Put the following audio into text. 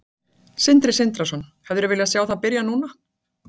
Sindri Sindrason: Hefðirðu viljað sjá það byrja núna?